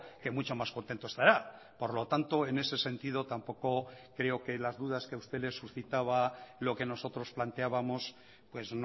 que mucho más contento estará por lo tanto en ese sentido tampoco creo que las dudas que a usted le suscitaba lo que nosotros planteábamos pues